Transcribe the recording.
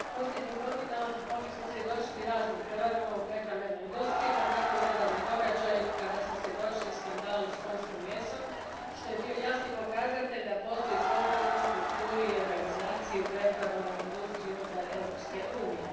Gospodine predsjedavajući, posljednjih godina mogli smo svjedočiti raznim prevarama u prehrambenoj industriji pa tako i nedavnim događajima kada smo svjedočili skandalu s konjskim mesom, što je bio jasni pokazatelj da postoji problem u strukturi i organizaciji u prehrambenoj industriji unutar Europske unije.